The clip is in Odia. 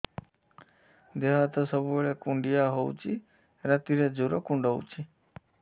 ଦେହ ହାତ ସବୁବେଳେ କୁଣ୍ଡିଆ ହଉଚି ରାତିରେ ଜୁର୍ କୁଣ୍ଡଉଚି